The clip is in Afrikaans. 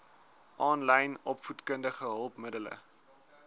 aanlyn opvoedkundige hulpmiddele